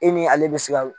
E ni ale bɛ se ka